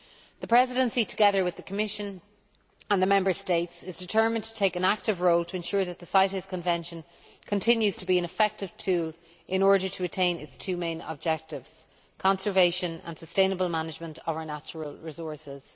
The Presidency, together with the Commission and the Member States, is determined to play an active role in ensuring that CITES continues to be an effective tool, in order to attain its two main objectives conservation and sustainable management of our natural resources.